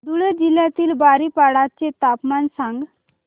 धुळे जिल्ह्यातील बारीपाडा चे तापमान सांग